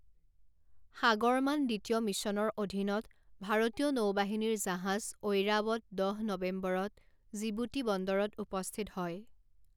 সাগৰমান দ্বিতীয় মিশ্যনৰ অধীনত ভাৰতীয় নৌবাহিনীৰ জাহাজ ঐৰাৱত দহ নৱেম্বৰত জিবুতি বন্দৰত উপস্থিত হয়।